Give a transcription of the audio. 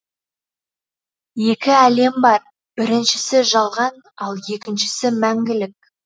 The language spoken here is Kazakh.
екі әлем бар біріншісі жалған ал екіншісі мәңгілік